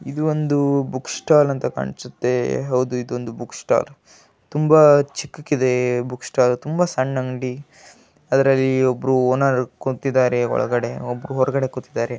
ಇದು ಒಂದು book stall ಅಂತ ಕಾಣ್ಸುತ್ತೆ ಹೌದು ಇದೊಂದು ಬುಕ್ ಸ್ಟಾಲ್ ತುಂಬಾ ಚಿಕ್ಕಕಿದೆ ತುಂಬಾ ಸಣ್ಣ ಅಂಗಡಿ ಅದ್ರಲ್ಲಿ ಒಬ್ರು ಓನರ್ ಕೂತಿದ್ದಾರೆ ಒಳಗಡೆ ಒಬ್ರು ಹೊರಗಡೆ ಕೂತಿದ್ದಾರೆ .